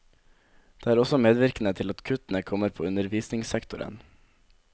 Det er også medvirkende til at kuttene kommer på undervisningssektoren.